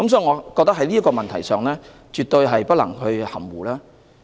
我們對這個問題絕對不能含糊。